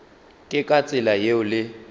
ke ka tsela yeo le